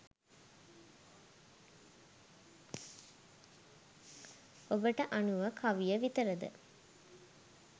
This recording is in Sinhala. ඔබට අනුව කවිය විතරද